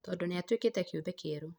tondũ nĩatuĩkĩte kĩũmbe kĩerũ